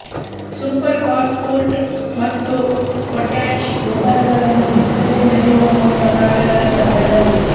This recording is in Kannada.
ಸೂಪರ್ ಫಾಸ್ಫೇಟ್ ಮತ್ತು ಪೊಟ್ಯಾಷ್ ಗೊಬ್ಬರಗಳನ್ನು ಬಿತ್ತನೆ ನೆಡುವ ಮುನ್ನ ಸಾಲುಗಳಲ್ಲಿ ಹರಡಬೇಕು